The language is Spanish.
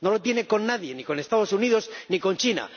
No lo tiene con nadie, ni con los Estados Unidos ni con China.